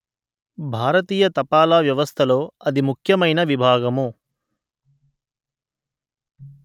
భారతీయ తపాలా వ్యవస్థలో అతి ముఖ్యమైన విభాగము